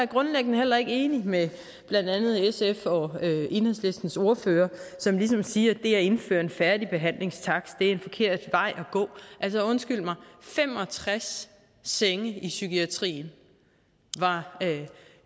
grundlæggende heller ikke enig med blandt andet sfs og enhedslistens ordførere som ligesom siger at det at indføre en færdigbehandlingstakst er en forkert vej at gå altså undskyld mig fem og tres senge i psykiatrien var